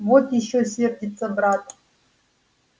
вот ещё сердится брат